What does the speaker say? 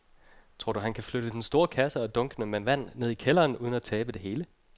Tror du, at han kan flytte den store kasse og dunkene med vand ned i kælderen uden at tabe det hele?